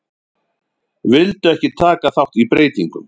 Vildu ekki taka þátt í breytingum